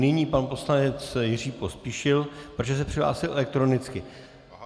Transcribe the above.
Nyní pan poslanec Jiří Pospíšil, protože se přihlásil elektronicky.